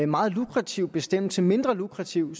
meget lukrativ bestemmelse mindre lukrativ